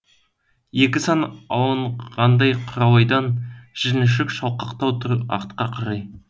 екі сан алынғандай құралайдан жіліншік шалқақтау тұр артқа қарай